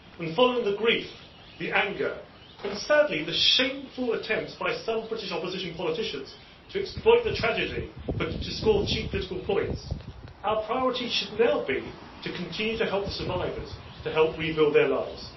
Following the grief, the anger and, sadly, the shameful attempts by some British opposition politicians to exploit the tragedy to score cheap political points, our priority should now be to continue to help the survivors, to help rebuild their lives.